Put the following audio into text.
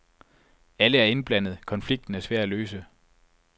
Alle er indblandet, konflikten er svær at løse.